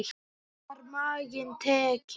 Svo var maginn tekinn.